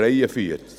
Dort steht: